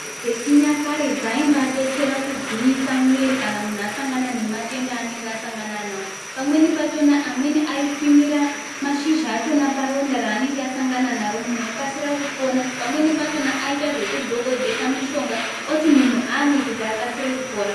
Pechinyakare zvaiva detsera kugwinyusa mumwiri kana munhu asangana nematenda emumhu anenge asangana nawo pamweni pakona amweni aisvinira mashizha achona paronda ranenge asangana naro munhu okasira kupona pamweni pacho aita zvekudhokodhesa munhu wacho oti munhu amwe akasire kupora.